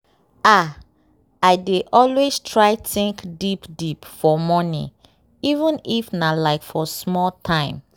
ah i dey always try think deep deep for morning even if nah like for small time.